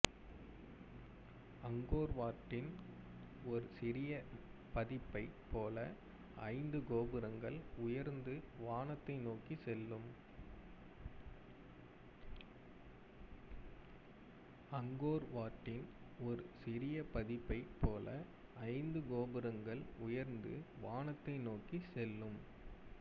அங்கோர்வாட்டின் ஒரு சிறிய பதிப்பைப் போல ஐந்து கோபுரங்கள் உயர்ந்து வானத்தை நோக்கிச் செல்லும்